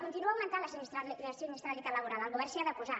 continua augmentant la sinistralitat laboral el govern s’hi ha de posar